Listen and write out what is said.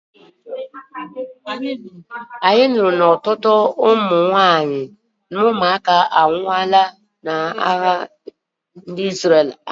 Anyị nụrụ na ọtụtụ ụmụ nwanyị na ụmụaka anwụọla n'agha Isreal kemgbe ọnwa gara aga